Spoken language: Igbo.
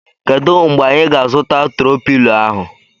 Kedụ mgbe anyị ga -azuta tro pilo ahụ?